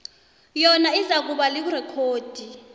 yona izakuba lirekhodi